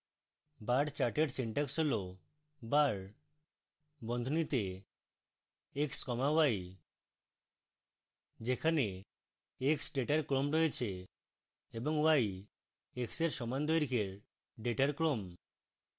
bar chart syntax হল: bar বন্ধনীতে x comma y